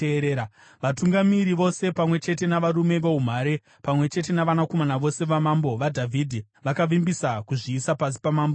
Vatungamiri vose pamwe chete navarume voumhare, pamwe chete navanakomana vose vaMambo vaDhavhidhi vakavimbisa kuzviisa pasi paMambo Soromoni.